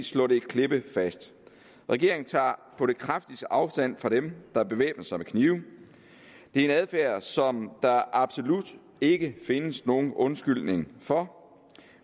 slå det klippefast regeringen tager på det kraftigste afstand fra dem der bevæbner sig med knive det er en adfærd som der absolut ikke findes nogen undskyldning for